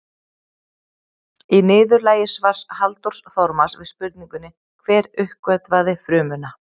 Í niðurlagi svars Halldórs Þormars við spurningunni Hver uppgötvaði frumuna?